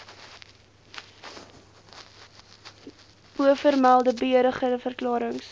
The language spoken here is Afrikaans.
bovermelde beëdigde verklarings